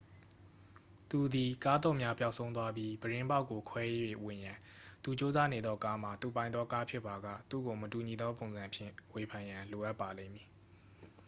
သူသည် ကားသော့များ ပျောက်ဆုံးသွားပြီး ပြတင်းပေါက်ကို ခွဲ၍ဝင်ရန် သူကြိုးစားနေသောကားမှာ သူပိုင်သောကားဖြစ်ပါက သူ့ကို မတူညီသောပုံစံဖြင့် ဝေဖန်ရန် လိုအပ်ပါလိမ့်မည်